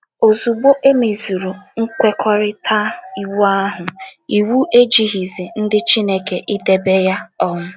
Ozugbo e mezuru “ nkwekọrịta ” Iwu ahụ, iwu ejighịzi ndị Chineke idebe ya um.